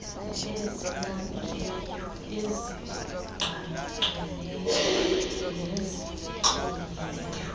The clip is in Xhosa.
ezinabileyo ezigqagqeneyo nezixhomileyo